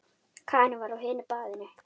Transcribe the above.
Karen var á hinu baðinu.